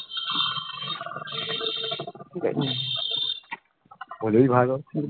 হলেই ভালো